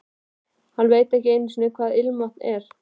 Hann veit ekki einu sinni hvað ilmvatn er.